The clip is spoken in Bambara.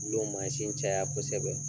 caya kosɛbɛ.